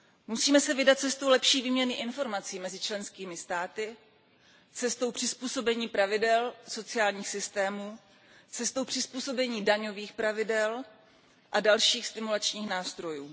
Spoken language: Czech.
Musíme se vydat cestou lepší výměny informací mezi členskými státy, cestou přizpůsobení pravidel sociálních systémů, cestou přizpůsobení daňových pravidel a dalších stimulačních nástrojů.